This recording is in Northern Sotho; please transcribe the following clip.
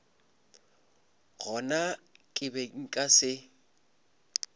gona ke be nka se